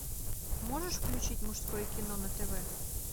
можешь включить мужское кино на тв